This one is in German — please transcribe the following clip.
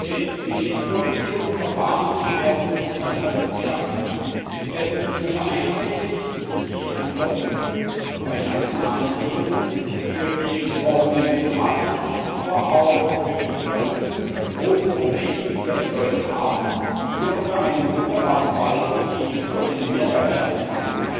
Denn mit dem vorgesehenen Verfahren werden Standards geschaffen, es werden Dinge vereinheitlicht, die ansonsten bei nationalen Regelungen für die betroffenen Privatmenschen, aber auch für die Firmen bisher große Probleme bedeutet haben. Hier haben wir einen wunderbaren Fall, wo die EU einen Mehrwert schaffen kann.